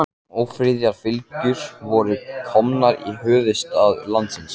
Ófriðarfylgjur voru komnar í höfuðstað landsins.